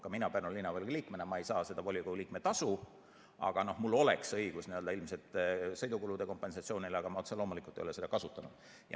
Ka mina Pärnu Linnavolikogu liikmena ei saa seda volikogu liikme tasu, aga mul oleks õigus ilmselt sõidukulude kompensatsioonile, kuigi ma otse loomulikult ei ole seda kasutanud.